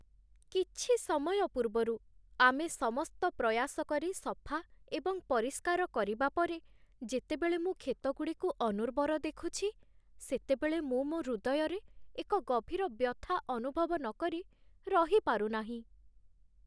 କିଛି ସମୟ ପୂର୍ବରୁ ଆମେ ସମସ୍ତ ପ୍ରୟାସ କରି ସଫା ଏବଂ ପରିଷ୍କାର କରିବା ପରେ ଯେତେବେଳେ ମୁଁ କ୍ଷେତଗୁଡ଼ିକୁ ଅନୁର୍ବର ଦେଖୁଛି, ସେତେବେଳେ ମୁଁ ମୋ ହୃଦୟରେ ଏକ ଗଭୀର ବ୍ୟଥା ଅନୁଭବ ନକରି ରହିପାରୁ ନାହିଁ